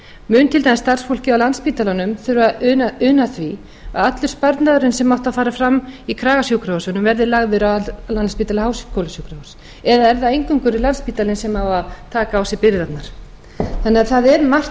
mun til dæmis starfsfólkið á landspítalanum þurfa að una því að allur sparnaðurinn sem átti að fara fram í kragasjúkrahúsunum verði lagður að landspítala á háskólasjúkrahúsi eða er það eingöngu landspítalinn sem á að taka á sig byrðarnar það er mörgu